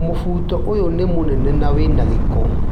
Mũbuto ũyũ nĩ munene na wĩna gĩko.